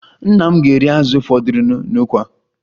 Nna m ga-eri azụ fọdụrụnụ n'ukwa